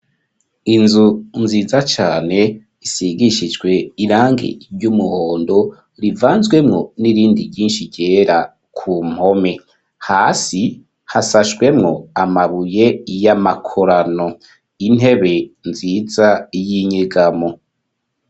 Inzu nziza cane isigishijwe irange iry' umuhondo rivanzwemwo n'irindi ryinshi ryera ku mpome hasi hasashwemwo amabuye y'amakorano intebe nziza y'inyigamo.